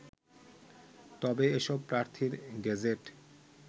তবে এসব প্রার্থীর গেজেট